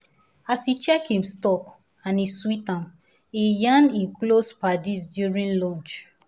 as e check him stock and e sweet am e yarn him close paddies during lunch.